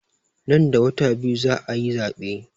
Nan da wata biyu za a yi zaɓen.